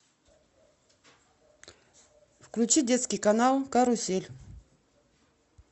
включи детский канал карусель